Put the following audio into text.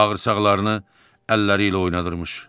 Bağırsaqlarını əlləriylə oynadırdı.